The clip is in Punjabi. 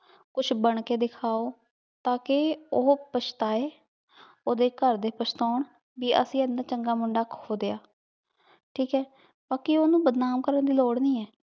ਕੁਛ ਬਣ ਕੇ ਦਿਕਾਹੋ ਟਾਕੀ ਊ ਪਾਚ੍ਤਾਯ ਓਹਦੇ ਘਰ ਦੇ ਪਛਤਾਉਣ ਭੀ ਅਸੀਂ ਏਨਾ ਚੰਗਾ ਮੁੰਡਾ ਖੋ ਦਯਾ ਠੀਕ ਆਯ ਬਾਕ਼ੀ ਓਹਨੁ ਬਦਨਾਮ ਕਰਨ ਦੀ ਲੋਰ ਨਾਈ ਆਯ